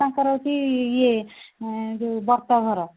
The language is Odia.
ତାଙ୍କର ହଉଛି ଇଏ ଯୋଉ ବ୍ରତଘର